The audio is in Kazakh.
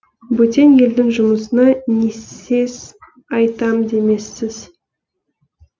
бөтен елдің жұмысына не сез айтам демессіз